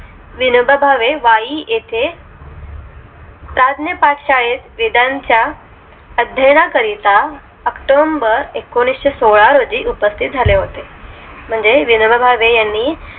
विनोबा भावे वाई येथे प्रद्न्यपाठशाळेत वेदांच्या अध्यानाकरिता october एकोणीशे सोळा रोजी उपस्तित झाले होते